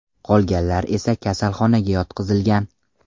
Qolganlar esa kasalxonaga yotqizilgan.